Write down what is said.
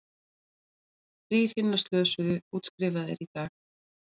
Þrír hinna slösuðu útskrifaðir í dag